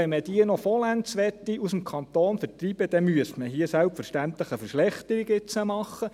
Wenn man diese noch vollends aus dem Kanton Bern vertreiben möchte, müsste man jetzt hier selbstverständlich eine Verschlechterung machen.